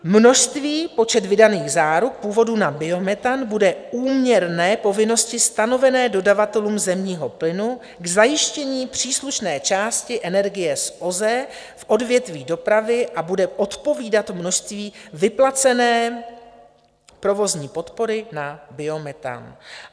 Množství, počet vydaných záruk původu na biometan bude úměrné povinnosti stanovené dodavatelům zemního plynu k zajištění příslušné části energie z OZE v odvětví dopravy a bude odpovídat množství vyplacené provozní podpory na biometan.